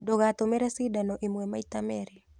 Ndũgatũmĩre cindano ĩmwe maita merĩ.